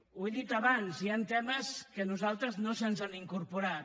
ho he dit abans hi han temes que a nosaltres no se’ns han incorporat